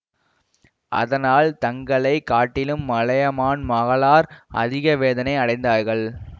அதனால் தங்களை காட்டிலும் மலையமான் மகளார் அதிக வேதனை அடைந்தார்கள்